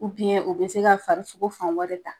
U u bɛ se ka fari sogo fan wɛrɛ ta.